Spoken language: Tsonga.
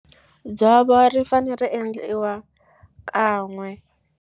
Dzovo ri fane ri endliwa kan'we.